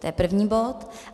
To je první bod.